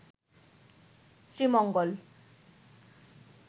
Sreemangal